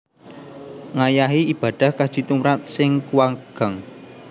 Ngayahi ibadah Kaji tumrap sing kuwagang